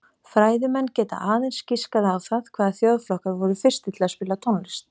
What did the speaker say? Fræðimenn geta aðeins giskað á það hvaða þjóðflokkar voru fyrstir til að spila tónlist.